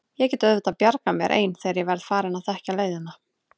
Ég get auðvitað bjargað mér ein þegar ég verð farin að þekkja leiðina.